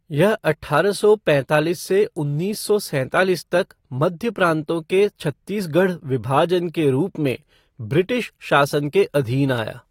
यह अठारह सौ पैंतालीस से उन्नीस सौ सैंतालीस तक मध्य प्राँतों के छत्तीसगढ़ विभाजन के रूप में ब्रिटिश शासन के अधीन आया।